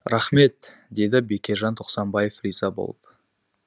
рахмет деді бекежан тоқсанбаев риза болып